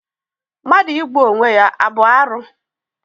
Mmadụ igbu onwe ya abụ arụ?